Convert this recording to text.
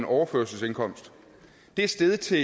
overførselsindkomst det er steget til